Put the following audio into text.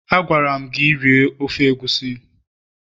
Agwara'm gi, rie ofe egusi